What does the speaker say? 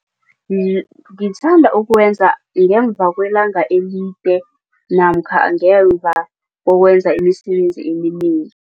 ngithanda ukuwenza ngemva kwelanga elide namkha ngemva kokwenza imisebenzi eminengi.